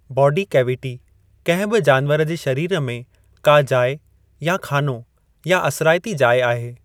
बोडी cavity कंहिं बि जानवर जे शरीर में का जाइ या ख़ानो, या असिरायती जाइ आहे।